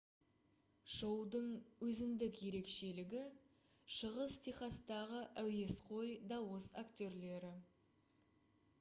шоудың өзіндік ерекшелігі шығыс техастағы әуесқой дауыс актерлері